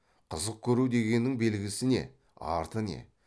қызық көру дегеннің белгісі не арты не